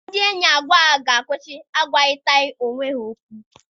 Ndị enyi abụọ ahụ ga-akwụsị agwarịtaghị onwe ha okwu.